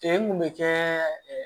Cɛ mun bɛ kɛ